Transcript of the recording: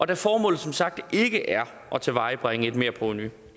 da formålet som sagt ikke er at tilvejebringe et merprovenu det